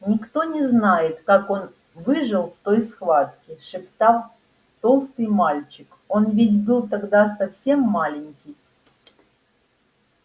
никто не знает как он выжил в той схватке шептал толстый мальчик он ведь был тогда совсем маленький